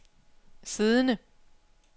siddende